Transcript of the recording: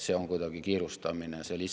See lihtsalt ei vasta tõele.